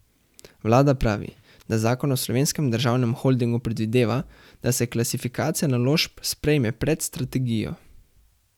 Vlada pravi, da zakon o Slovenskem državnem holdingu predvideva, da se klasifikacija naložb sprejme pred strategijo.